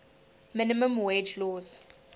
minimum wage laws